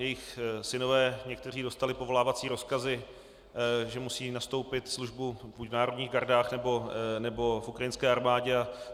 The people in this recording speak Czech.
Jejich synové, někteří, dostali povolávací rozkazy, že musí nastoupit službu buď v národních gardách, nebo v ukrajinské armádě.